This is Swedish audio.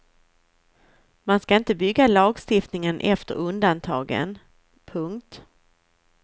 Man ska inte bygga lagstiftningen efter undantagen. punkt